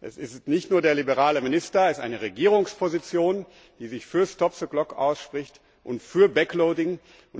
Es ist nicht nur der liberale Minister, es ist eine Regierungsposition, die sich für und für ausspricht, und